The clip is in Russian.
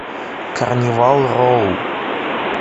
карнивал роу